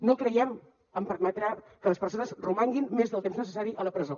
no creiem en permetre que les persones romanguin més del temps necessari a la presó